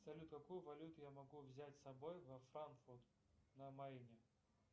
салют какую валюту я могу взять с собой во франкфурт на майне